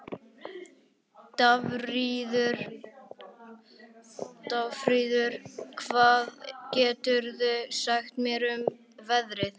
Dagfríður, hvað geturðu sagt mér um veðrið?